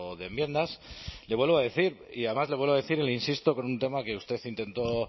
de enmiendas le vuelvo a decir y además le vuelvo a decir y le insisto con un tema que usted intentó